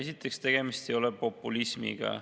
Esiteks, tegemist ei ole populismiga.